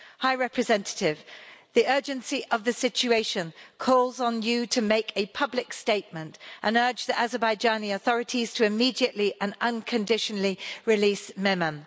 High Representative, the urgency of the situation calls on you to make a public statement and urge the Azerbaijani authorities to immediately and unconditionally release Mehman.